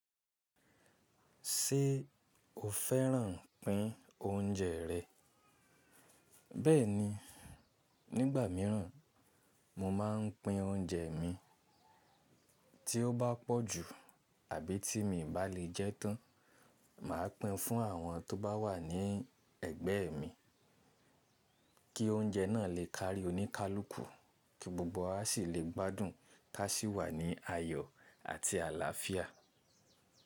Ṣé o fẹ́ràn pín oúnjẹ rẹ? Bẹ́ẹ̀ni, nígbà míràn mo máa ń pín oúnjẹ mi. Tí ó bá pọ̀ ju àbí tí mi i bá lè jẹ́ tán, màá pín fún àwọn tó bá wà ní ẹ̀gbẹ́ mi kí oúnjẹ náà lè kárí oníkálùkù kí gbogbo wa sì lè gbádùn ká sì wà ní ayọ̀ àti àlàáfíà.